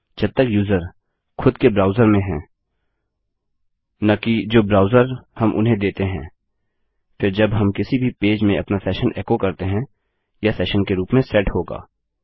जब तक यूजर खुद के ब्राउजर में है न कि जो ब्राउजर हम उन्हें देते हैं फिर जब हम किसी भी पेज में अपना सेशन एको करते हैं यह सेशन के रूप में सेट होगा